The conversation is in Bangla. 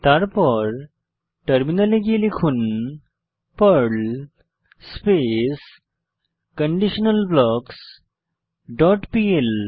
তারপর টার্মিনালে গিয়ে লিখুন Perl space conditional blocks dot PL